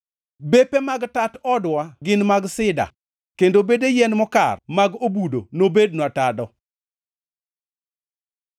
Bepe mag tat odwa gin mag sida; kendo bede yien mokar mag obudo nobednwa tado.